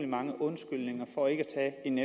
mange undskyldninger for ikke at tage en